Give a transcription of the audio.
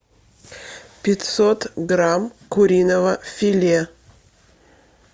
пятьсот грамм куриного филе